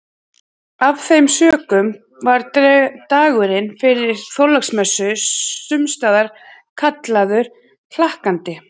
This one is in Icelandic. Af þeim sökum var dagurinn fyrir Þorláksmessu sumstaðar kallaður hlakkandi.